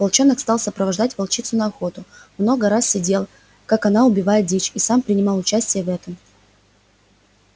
волчонок стал сопровождать волчицу на охоту много раз сидел как она убивает дичь и сам принимал участие в этом